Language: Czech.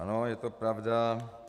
Ano, je to pravda.